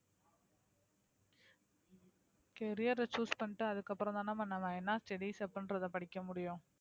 carrier அ choose பண்ணிட்டு அதுக்கப்புறம்தான் நம்ம ஆஹ் studies அப்படின்றதை படிக்க முடியும்